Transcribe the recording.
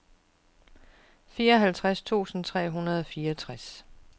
fireoghalvtreds tusind tre hundrede og fireogtres